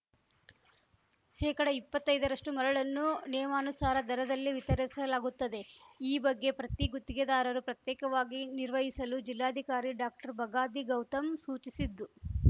ಶೇಕಡಇಪ್ಪತ್ತೈದರಷ್ಟುಮರಳನ್ನು ನಿಯಮಾನುಸಾರ ದರದಲ್ಲೇ ವಿತರಿಸಲಾಗುತ್ತದೆ ಈ ಬಗ್ಗೆ ಪ್ರತಿ ಗುತ್ತಿಗೆದಾರರು ಪ್ರತ್ಯೇಕವಾಗಿ ನಿರ್ವಹಿಸಲು ಜಿಲ್ಲಾಧಿಕಾರಿ ಡಾಕ್ಟರ್ಬಗಾದಿ ಗೌತಮ್‌ ಸೂಚಿಸಿದ್ದು